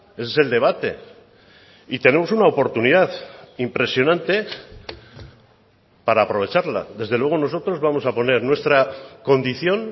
ese es el debate y tenemos una oportunidad impresionante para aprovecharla desde luego nosotros vamos a poner nuestra condición